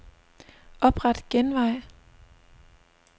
Opret genvej.